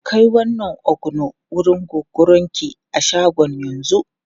Kai wannan ogbono wurin Gogorinki a shagon yanzu!